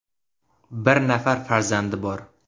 Bir nafar farzandi bor.